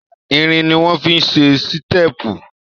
Irin ni wọ́n fi ṣe sítépù.